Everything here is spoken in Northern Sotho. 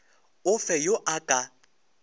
o fe yo a ka